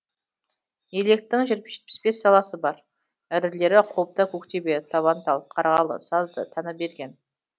електің жетпіс бес саласы бар ірілері қобда көктөбе табантал қарғалы сазды таныберген